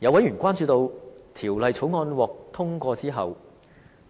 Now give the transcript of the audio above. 有委員關注到，《條例草案》獲通過後，